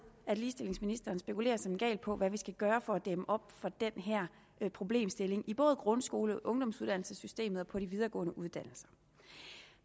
at ligestillingsministeren spekulerer som en gal på hvad vi skal gøre for at dæmme op for den her problemstilling i både grundskolen ungdomsuddannelsessystemet og på de videregående uddannelser